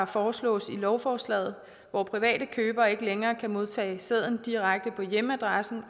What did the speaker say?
foreslås i lovforslaget hvor private købere ikke længere kan modtage sæden direkte på hjemmeadressen